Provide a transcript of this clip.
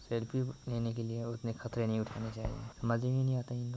selfie लेने के लिए उतने खतरे नहीं उठानी चाहिए समझ में ही नहीं आता है इनलोग को--